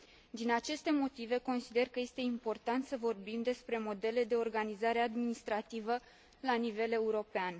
Din aceste motive, consider că este important să vorbim despre modele de organizare administrativă la nivel european.